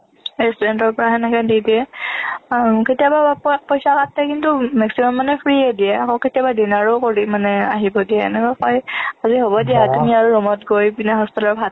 restaurant ৰ পৰা সেনেকে দি দিয়ে কেতিয়াবা পইচা কিন্তু maximum মানে free য়েই দিয়ে আকৌ dinner ও কৰি মানে আহিব দিয়ে এনেকুৱা কৰে আজি হ'ব দিয়া room ত গৈ পিনে hostel ত ভাত